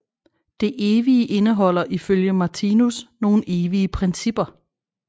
Det evige indeholder ifølge Martinus nogle evige principper